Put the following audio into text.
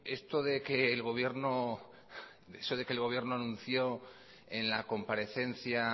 esto de que el gobierno eso de que el gobierno anunció en la comparecencia